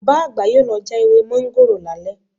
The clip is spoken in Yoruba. Bàbá àgbà yóò lọ já ewé mọ́ńgòrò lálẹ́